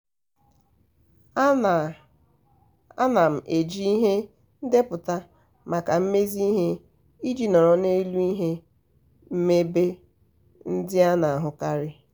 ana m eji ihe ndepụta maka mmezi ihe iji nọrọ n'elu ihe mmebi ndị a na-ahụkarị.